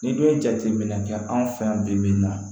N'i dun ye jateminɛ kɛ anw fɛ yan bi bi in na